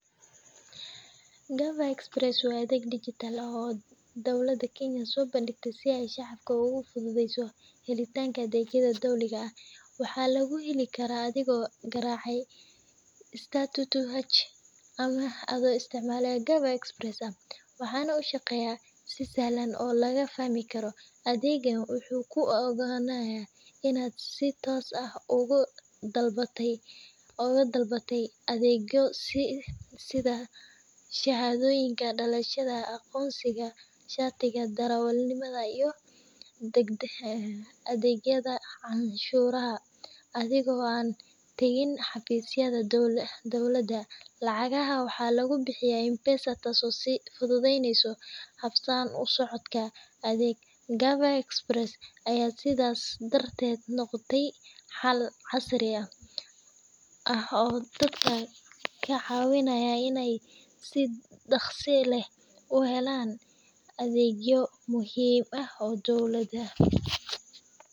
Gava Express waa adeeg dijitaal ah oo ay dowladda Kenya soo bandhigtay si ay shacabka ugu fududeyso helitaanka adeegyada dowliga ah. Waxaa lagu heli karaa adigoo garaacaya *222h ama adoo isticmaalaya Gava Express App, waxaana uu shaqeeyaa si sahlan oo la fahmi karo. Adeeggan wuxuu kuu oggolaanayaa inaad si toos ah uga dalbato adeegyo sida shahaadooyinka dhalashada, aqoonsiga, shatiga darawalnimada, iyo adeegyada canshuuraha, adigoo aan tagin xafiisyada dowladda. Lacagaha waxaa lagu bixiyaa M-Pesa, taasoo sii fududeyneysa habsami u socodka adeega. Gava Express ayaa sidaas darteed noqday xal casri ah oo dadka ka caawiya inay si dhakhso leh u helaan adeegyo muhiim ah oo dowladeed.